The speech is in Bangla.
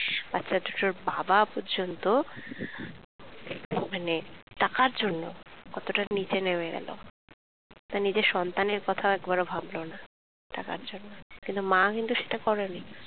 বাচ্ছাটা দুটোর বাবা পর্যন্ত খুব মানে টাকার জন্য কতোটা নিচে নেমে গেলো তার নিজের সন্তানের কথাও একবারও ভাবলো না টাকার জন্য, কিন্তু মা কিন্তু সেটা করেনি